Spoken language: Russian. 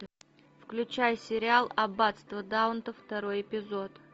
включай сериал аббатство даунтон второй эпизод